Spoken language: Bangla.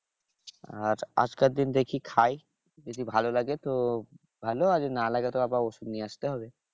আহ আজকের দিন দেখি খাই যদি ভালো লাগে তো ভালো আর যদি না লাগে তো আবার ওষুধ নিয়ে আসতে হবে